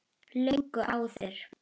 Löngu áður.